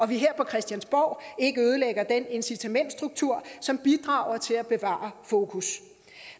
vi her på christiansborg ikke ødelægger den incitamentsstruktur som bidrager til at bevare fokus